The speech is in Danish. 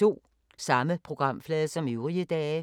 Samme programflade som øvrige dage